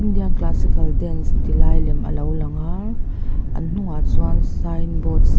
indian classical dance ti lai lem a lo lang a an hnungah chuan sign board --